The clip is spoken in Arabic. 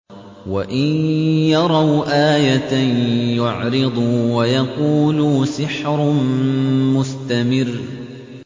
وَإِن يَرَوْا آيَةً يُعْرِضُوا وَيَقُولُوا سِحْرٌ مُّسْتَمِرٌّ